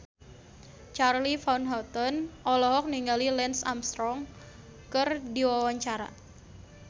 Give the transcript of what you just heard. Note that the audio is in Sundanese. Charly Van Houten olohok ningali Lance Armstrong keur diwawancara